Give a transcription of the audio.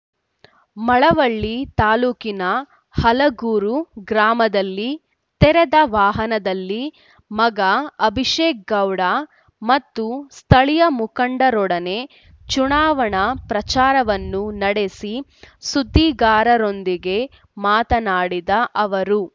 ಮಳವಳ್ಳಿ ತಾಲ್ಲೂಕಿನ ಹಲಗೂರು ಗ್ರಾಮದಲ್ಲಿ ತೆರೆದ ವಾಹನದಲ್ಲಿ ಮಗ ಅಭಿಷೇಕ್ ಗೌಡ ಮತ್ತು ಸ್ಥಳೀಯ ಮುಖಂಡರೊಡನೆ ಚುನಾವಣಾ ಪ್ರಚಾರವನ್ನು ನಡೆಸಿ ಸುದ್ದಿಗಾರರೊಂದಿಗೆ ಮಾತನಾಡಿದ ಅವರು